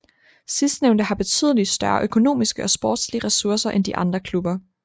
Sidstnævnte har betydelig større økonomiske og sportslige ressourcer end de andre klubber